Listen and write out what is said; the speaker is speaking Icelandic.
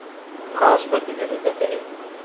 Hvaða spurningar eru þetta eiginlega?